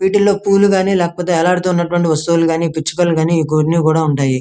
వీటిలో పూవులు కానీ లేకపోతే వేలాడుతున్నటువంటి వస్తువులు కానీ పిచ్చుకలు కానీ గూడూనీ కూడా ఉంటాయి.